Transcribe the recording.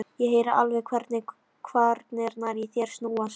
Ég heyri alveg hvernig kvarnirnar í þér snúast.